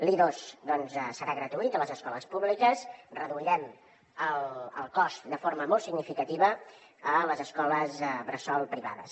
l’i2 doncs serà gratuït a les escoles públiques en reduirem el cost de forma molt significativa a les escoles bressol privades